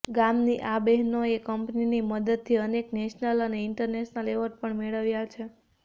ગામની આ બહેનોએ કંપનીની મદદથી અનેક નેશનલ અને ઈન્ટરનેશનલ એવોર્ડ પણ મેળવ્યા છે